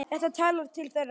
Þetta talar til þeirra.